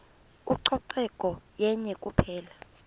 ucoceko yenye kuphela